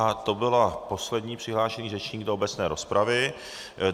A to byl poslední přihlášený řečník do obecné rozpravy.